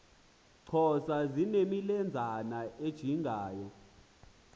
xhosa zinemilenzana ejingayo